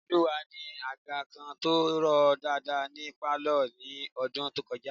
Ireoluwa ni àga kan tó rọ̀ dáadáa ní pálọ̀ ní ọdún tó kọjá